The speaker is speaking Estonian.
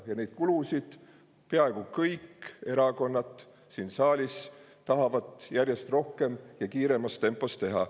Ja kulutusi tahavad peaaegu kõik erakonnad siin saalis järjest rohkem ja kiiremas tempos teha.